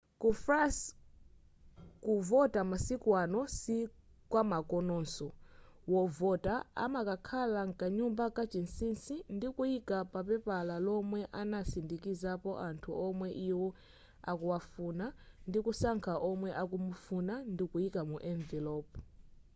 ku france kuvota masiku ano sikwamakononso : wovota amakakhala mkanyumba kachinsinsi ndikuika papela lomwe anasindikizapo anthu womwe iwo akuwafuna ndikusankha omwe akumufuna ndikuyika mu enivelopu